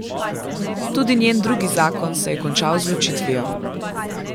Tudi njen drugi zakon se je končal z ločitvijo.